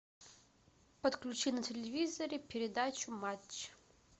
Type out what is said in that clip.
подключи на телевизоре передачу матч